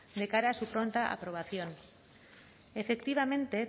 de cara a su pronta aprobación efectivamente